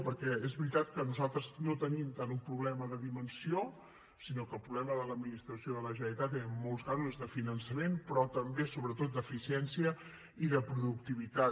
perquè és veritat que nosaltres no tenim tant un problema de dimensió sinó que el problema de l’administració de la generalitat en molts casos és de finançament però també sobretot d’eficiència i de productivitat